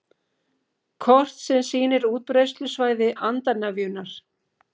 Kort sem sýnir útbreiðslusvæði andarnefjunnar